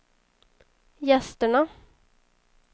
gästerna